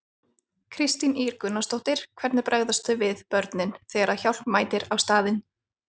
Kristín Ýr Gunnarsdóttir: Hvernig bregðast þau við, börnin, þegar að hjálp mætir á staðinn?